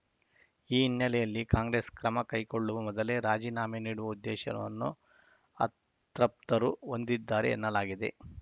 ಈ ಹಿನ್ನೆಲೆಯಲ್ಲಿ ಕಾಂಗ್ರೆಸ್‌ ಕ್ರಮ ಕೈಗೊಳ್ಳುವ ಮೊದಲೇ ರಾಜೀನಾಮೆ ನೀಡುವ ಉದ್ದೇಶವನ್ನು ಅತೃಪ್ತರು ಹೊಂದಿದ್ದಾರೆ ಎನ್ನಲಾಗಿದೆ